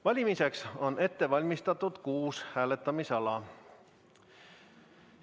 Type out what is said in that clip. Valimiseks on ette valmistatud kuus hääletamisala.